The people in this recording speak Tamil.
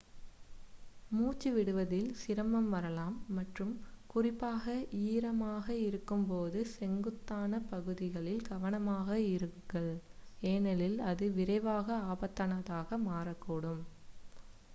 மூச்சுத் விடுவதில் சிரமம் வரலாம் மற்றும் குறிப்பாக ஈரமாக இருக்கும் போது செங்குத்தான பகுதிகளில் கவனமாக இருங்கள் ஏனெனில் அது விரைவாக ஆபத்தானதாக மாறக்கூடும்